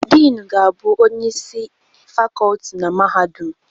Diinu ga-abụ Onyeisi isi Fakọlti na Mahadum.